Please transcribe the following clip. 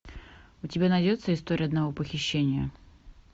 у тебя найдется история одного похищения